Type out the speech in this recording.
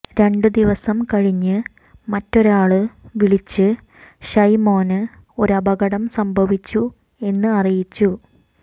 രണ്ടുദിവസം കഴിഞ്ഞ് മറ്റൊരാള് വിളിച്ച് ഷൈമോന് ഒരു അപകടം സംഭവിച്ചു എന്ന് അറിയിച്ചു